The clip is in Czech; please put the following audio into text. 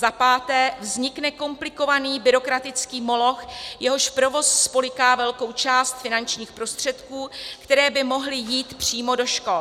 Za páté, vznikne komplikovaný byrokratický moloch, jehož provoz spolyká velkou část finančních prostředků, které by mohly jít přímo do škol.